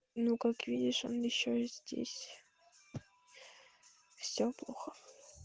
ну как видишь он ещё здесь все плохо